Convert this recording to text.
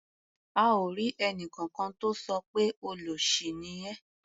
A ò rí ẹnìkankan tó sọ pé "olóṣì ni ẹ́".